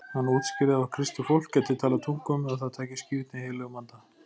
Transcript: Hann útskýrði að kristið fólk gæti talað tungum ef það tæki skírn í heilögum anda.